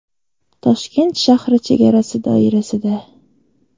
Toshkent shahri chegarasi doirasida.